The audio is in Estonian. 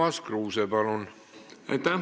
Urmas Kruuse, palun!